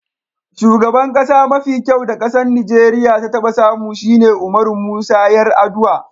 Shugaban kasa mafi kyau da kasan Nijeriya ya taba samu shine Umaru Musa Yar'adua.